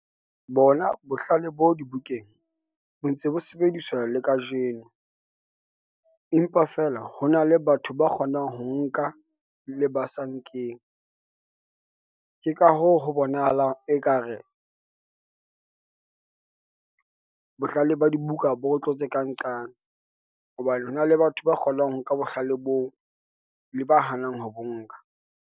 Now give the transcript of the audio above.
Bona bohlale bo dibukeng, bo ntse bo sebediswa le kajeno, empa feela ho na le batho ba kgonang ho nka le basa nkeng. Ke ka hoo, ho bonahalang ekare bohlale ba dibuka bo re tlo tse kang qane, hobane hona le batho ba kgonang ho nka bohlale boo, le ba hanang ho bo nka.